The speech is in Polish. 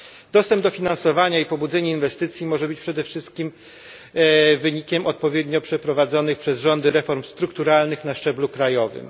Dostęp do finansowania i pobudzenie inwestycji może być przede wszystkim wynikiem odpowiednio przeprowadzonych przez rządy reform strukturalnych na szczeblu krajowym.